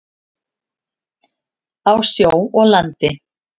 Á sjó og landi.